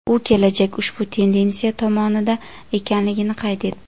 U kelajak ushbu tendensiya tomonida ekanligini qayd etdi.